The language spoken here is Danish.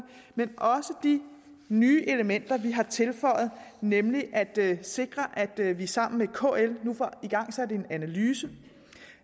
men også de nye elementer vi har tilføjet nemlig det at sikre at vi sammen med kl nu får igangsat en analyse